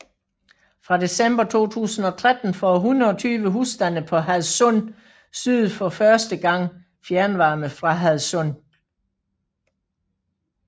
Fra december 2013 får 120 husstande på Hadsund Syd for første gang fjernvarme fra Hadsund